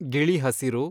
ಗಿಳಿ ಹಸಿರು